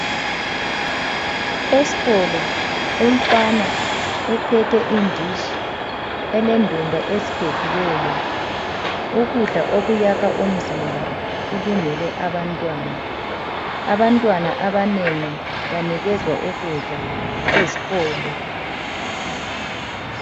Esikolo umfana uphethe inditshi elendumba eziphekiweyo ukudla okuyakha umzimba kulungele abantwana, abantwana abanengi banikezwa ukudla ezikolo.